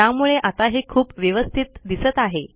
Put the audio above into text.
त्यामुळे आता हे खूप व्यवस्थित दिसत आहे